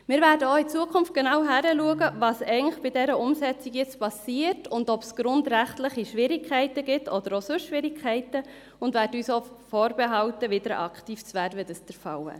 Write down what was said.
Wir werden auch in Zukunft genau hinschauen, was bei dieser Umsetzung nun passiert und ob es grundrechtliche Schwierigkeiten oder auch sonst Schwierigkeiten gibt, und werden uns vorbehalten, wieder aktiv zu werden, wenn dies der Fall wäre.